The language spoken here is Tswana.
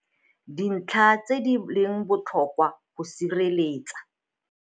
Dintlha tse di leng botlhokwa go sireletsa.